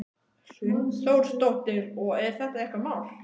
Hrund Þórsdóttir: Og er þetta eitthvað mál?